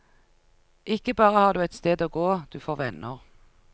Ikke bare har du et sted å gå, du får venner.